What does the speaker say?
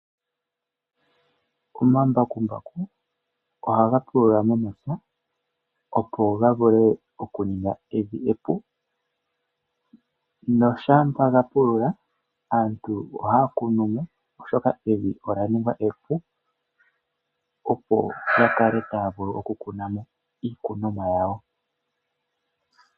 Omambakumbaku ohaga pulula momapya opo ga vule oku ninga evi epu, noshampa ga pulula aantu ohaa kunumo oshoka evi ola ningwa epu opo ya kale taa vulu oku kunamo iikunomwa yawo.